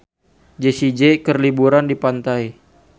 Jessie J keur liburan di pantai